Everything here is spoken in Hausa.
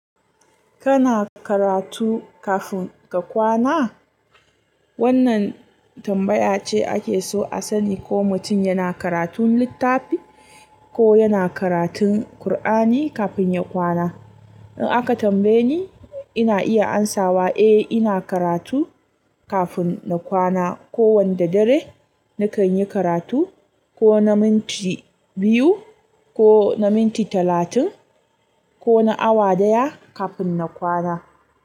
Kana karatu kafin ka kwana? Wannan tambaya ce ake so a sani ko mutum yana karatun littafi ko yana karatun Kur'ani kafin ya kwana. In aka tambaye ni, ina iya amsawa eh ina karatu kafin na kwana. Ko wanda dare na kan yi karatu ko na minti biyu, ko na minti talatin, ko na awa daya kafin na kwana.